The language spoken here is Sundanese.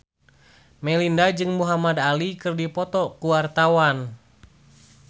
Melinda jeung Muhamad Ali keur dipoto ku wartawan